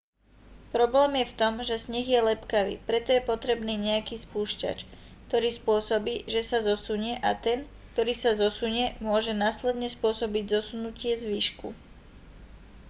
problém je v tom že sneh je lepkavý preto je potrebný nejaký spúšťač ktorý spôsobí že sa zosunie a ten ktorý sa zosunie môže následne spôsobiť zosunutie zvyšku